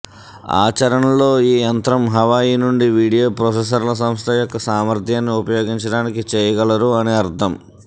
ఆచరణలో ఈ యంత్రం హవాయి నుండి వీడియో ప్రాసెసర్ల సంస్థ యొక్క సామర్థ్యాన్ని ఉపయోగించడానికి చేయగలరు అని అర్థం